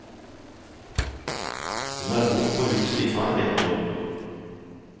Hun har bodd på huset i snart ett år.